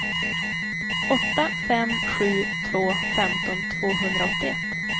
åtta fem sju två femton tvåhundraåttioett